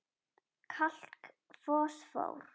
Kalk Fosfór